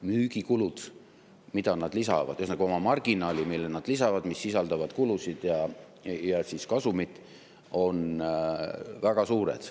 Müügikulud, mille nad lisavad, või ühesõnaga, oma marginaalid, mille nad lisavad, mis sisaldavad kulusid ja kasumit, on väga suured.